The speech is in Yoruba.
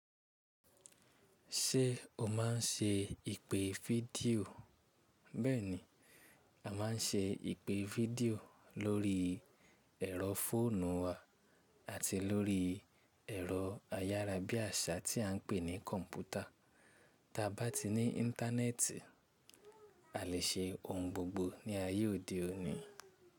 Ṣé o máa ń ṣe ìpè fídíò? Bẹ́ẹ̀ni, a má ń ṣe ìpè fídíò lórí ẹ̀rọ fóònù wa àti lórí ẹ̀rọ ayára bí àṣá tí à ń pè ní kọ̀ǹpútà. Ta bá ti ní ińtánẹ́ẹ̀tì a lè ṣe ohun gbogbo ní ayé òde òní.